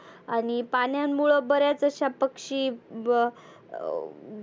आणि पाण्यामुळे बऱ्याच अशा पक्षी ब अं